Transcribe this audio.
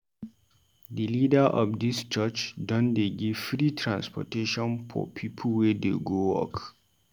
Di leader of dis church don dey give free transportation for pipu wey dey go work.